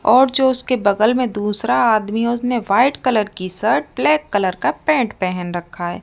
और जो उसके बगल मे दूसरा आदमी है उसने व्हाइट कलर की शर्ट और ब्लैक कलर का पैंट पहन रखा है।